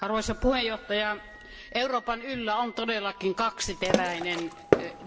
Arvoisa puhemies, Euroopan yllä on todellakin kaksiteräinen